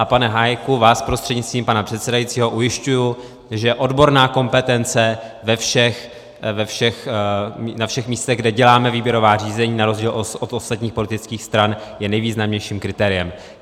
A pane Hájku, vás prostřednictvím pana předsedajícího ujišťuji, že odborná kompetence na všech místech, kde děláme výběrová řízení, na rozdíl od ostatních politických stran je nejvýznamnějším kritériem.